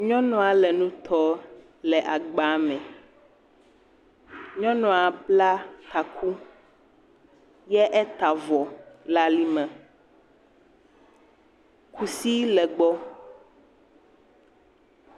Nyɔnua le nu tɔ le agbame. Nyɔnua bla taku ye eta avɔ le ali me. Kusi le egbɔ.